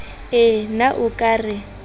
ee na o ka re